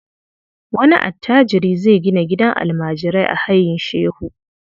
Wani attajiri zai gina gidan almajirai a Hayin Shehu.